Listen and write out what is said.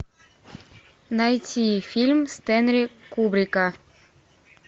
найти фильм стэнли кубрика